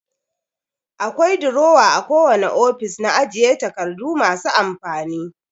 Akwai durowa a kowane ofis na ajiye takardu masu amfani.